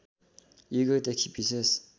युगौँदेखि विशेष